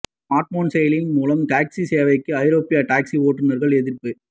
smartphone செயலிகள் மூலம் taxi சேவைக்கு ஐரோப்பிய டாக்சி ஓட்டுநர்கள் எதிர்ப்பு